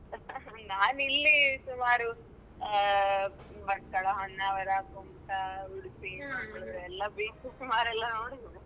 ನಾನ್ ಇಲ್ಲಿ ಸುಮಾರು ಹಾ Batkal, Honavar, Kumta, Udupi, Mangalore ಎಲ್ಲ ಸುಮಾರ್ ಎಲ್ಲಾ ನೋಡಿದ್ದೇನೆ.